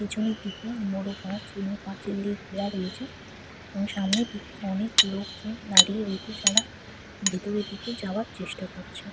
পিছনের দিকে বড় গাছ এবং পাঁচিল দিয়ে ঘেরা রয়েছে এবং সামনের দিকে অনেক লোকজন দাঁড়িয়ে রয়েছে যারা ভেতরের দিকে যাওয়ার চেষ্টা করছে ।